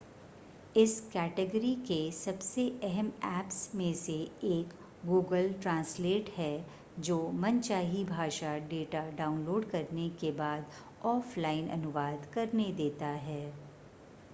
इस कैटेगरी के सबसे अहम ऐप्स में से एक google translate है जो मनचाही भाषा डेटा डाउनलोड करने के बाद ऑफ़लाइन अनुवाद करने देता है